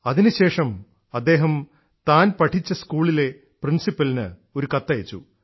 അതിനുശേഷം അദ്ദേഹം താൻ പഠിച്ച സ്കൂളിലെ പ്രിൻസിപ്പലിനു ഒരു കത്തയച്ചു